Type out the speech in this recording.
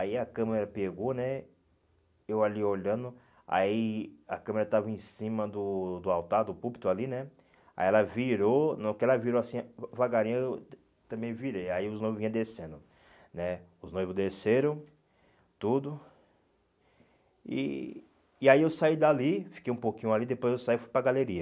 Aí a câmera pegou, né, eu ali olhando, aí a câmera estava em cima do do altar, do púlpito ali, né, aí ela virou, não que ela virou assim, devagarinho eu tam também virei, aí os noivos vinham descendo, né, os noivos desceram, tudo, e e aí eu saí dali, fiquei um pouquinho ali, depois eu saí e fui para galeria.